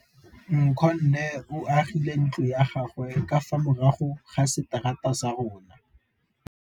Nkgonne o agile ntlo ya gagwe ka fa morago ga seterata sa rona.